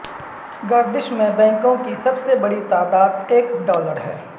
گردش میں بینکوں کی سب سے بڑی تعداد ایک ڈالر ہے